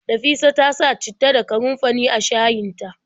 Nafisa ta sa citta da kanunfari a shayin ta.